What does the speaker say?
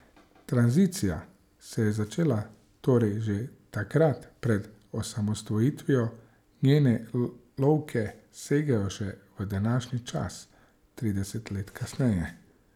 Tranzicija se je začela torej že takrat pred osamosvojitvijo, njene lovke segajo še v današnji čas trideset let kasneje.